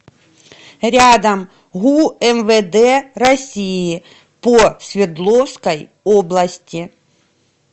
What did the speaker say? рядом гу мвд россии по свердловской области